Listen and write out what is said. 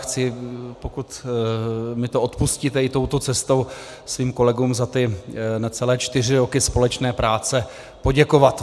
Chci, pokud mi to odpustíte, i touto cestou svým kolegům za ty necelé čtyři roky společné práce poděkovat.